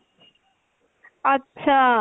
আচ্ছা।